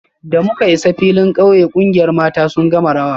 Da muka isa filin kauye, kungiyar mata sun gama rawa